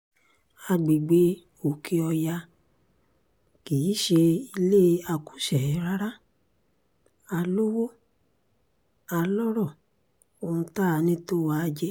àgbègbè òkè-ọ̀yà kì í ṣe ilé akúṣẹ̀ẹ́ rárá a lowó a lọ́rọ̀ ohun tá a ní tó wà í jẹ